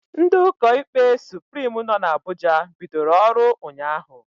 Ndị ụkọ ikpe Suprim nọ na Abuja bidoro ọrụ ụnyaahụ